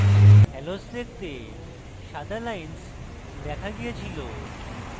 hallows দেখতে সাদা lines দেখা গিয়েছিল